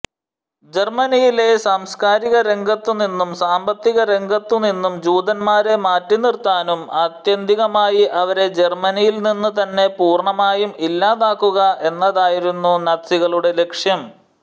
ജർമനിയിലെ സാംസ്കാരിക രംഗത്തുനിന്നും സാമ്പത്തികരംഗത്തുനിന്നും ജൂതന്മാരെ മാറ്റിനിർത്താനും ആത്യന്തികമായി അവരെ ജർമനിയിൽനിന്നും തന്നെ പൂർണ്ണമായും ഇല്ലാതാക്കുക എന്നതായിരുന്നു നാസികളുടെ ലക്ഷ്യം